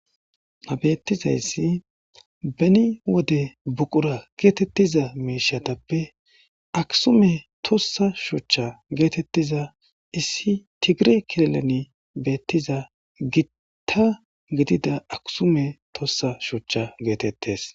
Ha beetizayssi beni wode buqura geetetiza miishshatappe aksume tuusa shuchcha geetetiza issi tigire kilileni beetiza gita gidida aksume tuusa shuchcha geetetees.